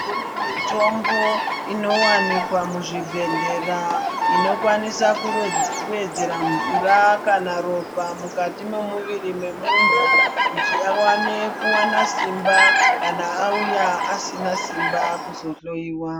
Kune mitombo inowanikwa muzvibhedhlera inokwanisa kuwedzerwa mvura kana ropa mukati memuviri mwemundu kuti awane kuwana simba kana auya asina simba kuzohloiwa.